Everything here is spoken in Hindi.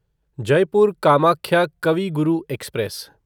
जयपुर कामाख्या कवि गुरु एक्सप्रेस